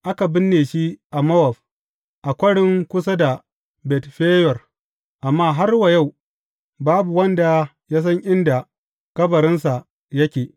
Aka binne shi a Mowab, a kwarin kusa da Bet Feyor, amma har wa yau babu wanda ya san inda kabarinsa yake.